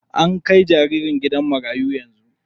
An kai jaririn gidan marayu yanzu.